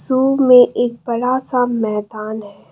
सो में एक बड़ा सा मैदान है।